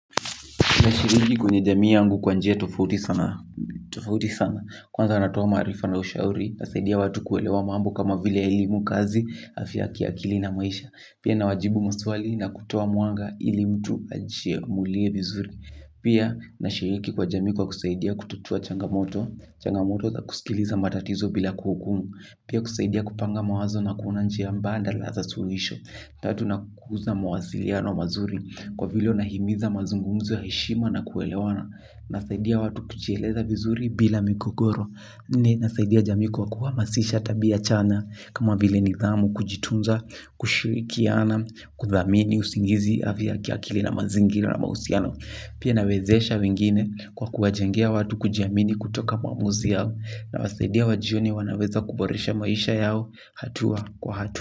Nashiriki kwenye jamii yangu kwa njia tofauti sana, kwanza natoa maarifa na ushauri, nasaidia watu kuelewa mambo kama vile elimu kazi, afya ya kiakili na maisha. Pia nawajibu maswali na kutoa mwanga ili mtu ajiamulie vizuri. Pia nashiriki kwa jamii kwa kusaidia kutatua changamoto, changamoto za kusikiliza matatizo bila kuhukumu. Pia kusaidia kupanga mawazo na kuna njia mbadala za suluhisho na tunakuza mawasiliano mazuri kwa vile unahimiza mazungumuzo ya heshima na kuelewana nasaidia watu kujieleza vizuri bila mikogoro nasaidia jamii kwa kuhamasisha tabia chanya kama vile nidhamu kujitunza kushirikiana kuthamini usingizi afya ya kiakili na mazingira na mahusiano. Pia nawezesha wengine kwa kuwajengea watu kujiamini kutoka maamuzi yao nawasaidia wajione wanaweza kuboresha maisha yao hatua kwa hatua.